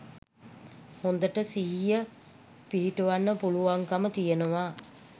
හොඳට සිහිය පිහිටුවන්න පුළුවන්කම තියෙනවා.